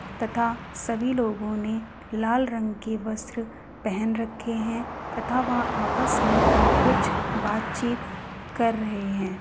तथा सभी लोगों ने लाल रंग के वस्त्र पहन रखे हैं तथा वह आपस में कुछ बातचीत कर रहे हैं।